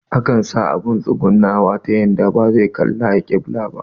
Akan sa abun tsugunawa ta yanda bazai kalli alƙibila ba